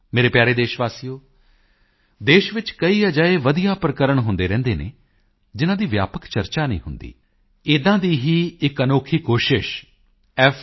ਮੇਰੇ ਪਿਆਰੇ ਦੇਸ਼ ਵਾਸੀਓ ਦੇਸ਼ ਵਿੱਚ ਕਈ ਅਜਿਹੇ ਵਧੀਆ ਪ੍ਰਕਰਣ ਹੁੰਦੇ ਰਹਿੰਦੇ ਹਨ ਜਿਨ੍ਹਾਂ ਦੀ ਵਿਆਪਕ ਚਰਚਾ ਨਹੀਂ ਹੁੰਦੀ ਇੱਦਾਂ ਦੀ ਹੀ ਇੱਕ ਅਨੋਖੀ ਕੋਸ਼ਿਸ਼ f